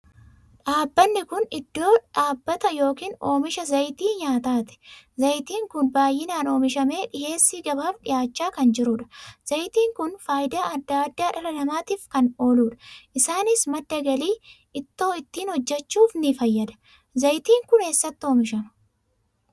Dhaabbanni kun iddoo dhaabbata ykn oomisha zayitii nyaataati. zayitiin kun baay 'inaan oomishamee dhiheessii gabaaf dhihaachaa kan jiruudha. Zayitiin Kun faayidaa adda addaa dhala namaatiif kan ooluudha. Isaanis madda galii, ittoo ittiin hojjechuuf ni fayyada. Zayitiin kun eessatti oomishama?